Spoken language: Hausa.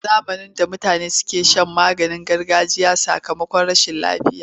A zamanin da mutane kan sha maganin gargajiya a sakamakon rashin lafiya.